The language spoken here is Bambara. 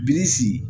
Bilisi